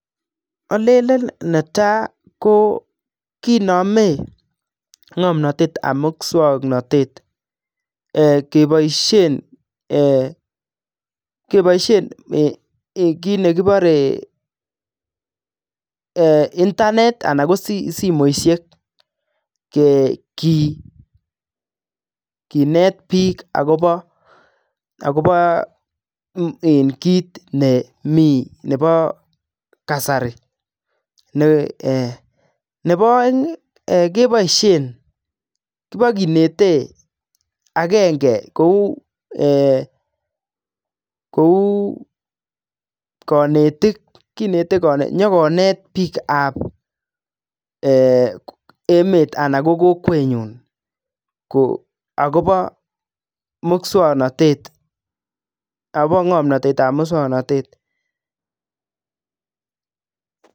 Olenen netai ko kinome ng'omnatet ab muswaknatet keboisien kit nekibore internet anan ko simoishek kinet biik agobo kit nemi nebo kasari. Nebo oeng keboishen, kibokinete agenge kou konetik kinete nyokonet biik ab emet anan ko kokwenyon agobo ng'omnatet ab muswaknatet.